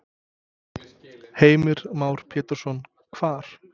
Heimir Már Pétursson: Hvar?